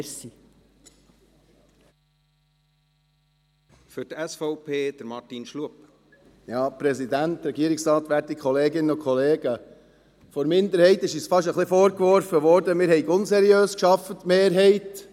Von der Minderheit wurde uns fast ein wenig vorgeworfen, wir, die Mehrheit, hätten unseriös gearbeitet.